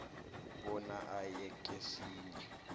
bona aye kesinye